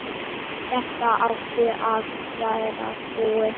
Þetta átti að vera búið.